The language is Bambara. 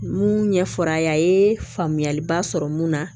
Mun ɲɛ fɔr'a ye a ye faamuyaliba sɔrɔ mun na